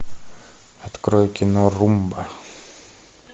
открой кино румба